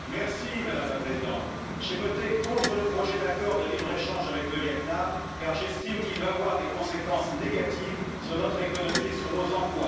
Madame la Présidente, j'ai voté contre le projet d'accord de libre échange avec le Viêt Nam, car j'estime qu'il va avoir des conséquences négatives sur notre économie et sur nos emplois.